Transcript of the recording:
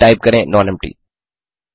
फिर टाइप करें नॉनेम्पटी